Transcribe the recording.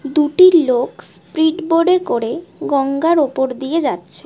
দুটি লোক speed boat এ করে গঙ্গার ওপর দিয়ে যাচ্ছে।